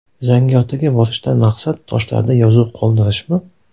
Zangiotaga borishdan maqsad toshlarda yozuv qoldirishmi?